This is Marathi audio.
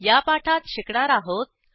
या पाठात शिकणार आहोत